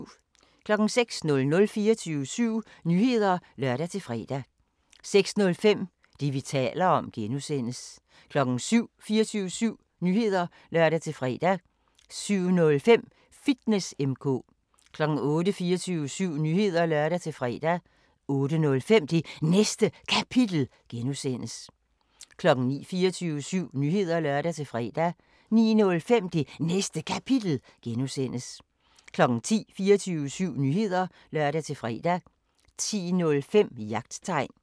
06:00: 24syv Nyheder (lør-fre) 06:05: Det, vi taler om (G) 07:00: 24syv Nyheder (lør-fre) 07:05: Fitness M/K 08:00: 24syv Nyheder (lør-fre) 08:05: Det Næste Kapitel (G) 09:00: 24syv Nyheder (lør-fre) 09:05: Det Næste Kapitel (G) 10:00: 24syv Nyheder (lør-fre) 10:05: Jagttegn